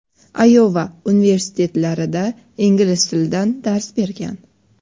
Ayova universitetlarida ingliz tilidan dars bergan.